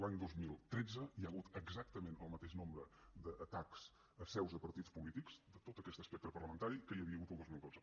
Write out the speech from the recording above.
l’any dos mil tretze hi ha hagut exactament el mateix nombre d’atacs a seus de partits polítics de tot aquest espectre parlamentari que hi havia hagut el dos mil dotze